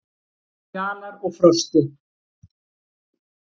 Fjalar og Frosti,